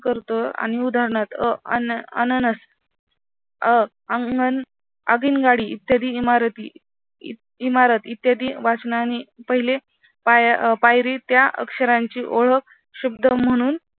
करतो आणि उदाहरणात अ अननस अ अंगण आगीनगाडी इत्यादी इमारती इ इमारत इत्यादी वाचनाने पहिली पायरी त्या अक्षरांची ओळख शब्द म्हणून